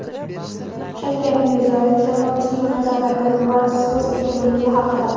Shavkat Mirziyoyev jamoatchilik nazorati va so‘z erkinligi haqida.